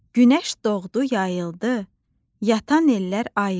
Günəş doğdu, yayıldı, yatan ellər ayıldı.